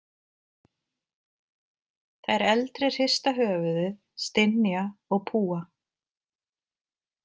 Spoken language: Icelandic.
Þær eldri hrista höfuðið, stynja og púa.